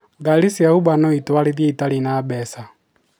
Gari cia uber noitwarithie itarĩ na mbeca?